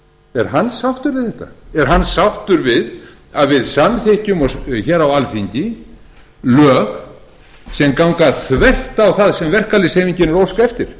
er hann sáttur við þetta er hann sáttur við að við samþykkjum hér á alþingi lög sem ganga þvert á það sem verkalýðshreyfingin er að óska eftir